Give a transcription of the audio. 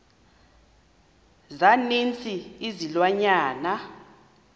za ninzi izilwanyana